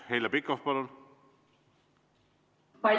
Heljo Pikhof, palun!